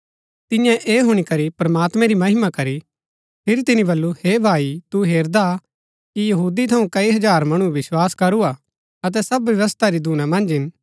तिन्ये ऐह हुणी करी प्रमात्मैं री महिमा करी फिरी तिनी बल्लू हे भाई तू हेरदा कि यहूदी थऊँ कई हजार मणुऐ विस्वास करूआ अतै सब व्यवस्था री धूना मन्ज हिन